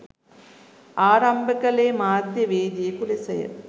ආරම්භ කළේ මාධ්‍යවේදියකු ලෙසය.